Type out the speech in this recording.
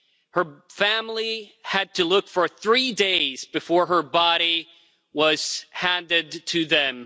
Her family had to look for three days before her body was handed to them.